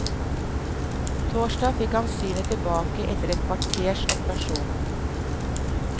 Torsdag fikk han synet tilbake etter ett kvarters operasjon.